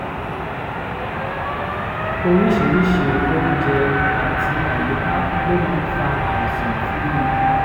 oríṣiríṣi oúnjẹ àti àyíká ló máa ń fa àìsàn fún mi